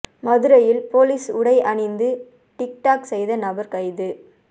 மதுரையில் போலீஸ் உடை அணிந்து டிக் டாக் செய்த நபர் கைது